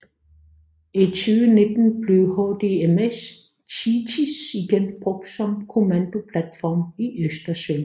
I 2019 blev HDMS THETIS igen brugt som kommandoplatform i Østersøen